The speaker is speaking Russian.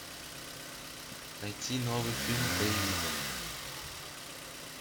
найти новый фильм боевик